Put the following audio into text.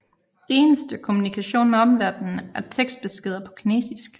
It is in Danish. Eneste kommunikation med omverden er tekstbeskeder på kinesisk